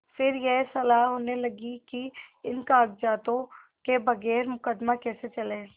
फिर यह सलाह होने लगी कि इन कागजातों के बगैर मुकदमा कैसे चले